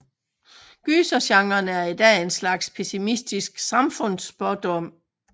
Gysergenren er i dag en slags pessimistisk samfundsspådom